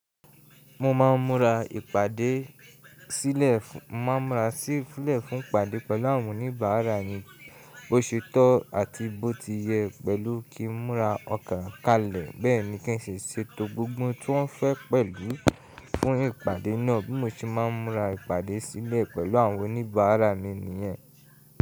Mo ma ń mura ipade silẹ, mo ma ń mura silẹ fun ipade pẹlu awon onibara ni bọsi to ati bọ ti yẹ pẹlu ki ń mura ọkà kalẹ. Bẹẹni ki ń ṣe ṣeto gbogbo ti wọn fẹ pẹlu fun ipade naa bi mo ṣe ma ń mura ipade silẹ pẹlu awon onibara ni niyẹn.